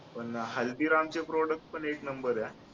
पण हल्दीरामचे product पण एक number आहे हा